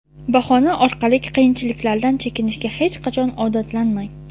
bahona orqalik qiyinchiliklardan chekinishga hech qachon odatlanmang.